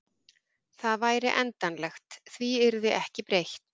Það væri endanlegt, því yrði ekki breytt.